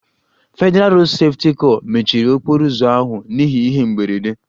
Federalụ Rodu Sefuti kor mechiri okporo ụzọ ahụ n'ihi ihe mberede